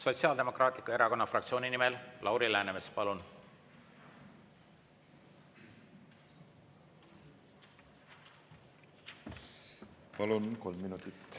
Sotsiaaldemokraatliku Erakonna fraktsiooni nimel Lauri Läänemets, palun!